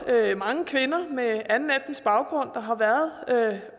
er mange kvinder med anden etnisk baggrund der har været